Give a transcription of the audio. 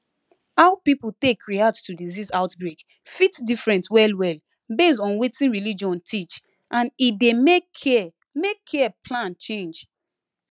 how people take react to disease outbreak fit different wellwell based on wetin religion teach and e dey make care make care plan change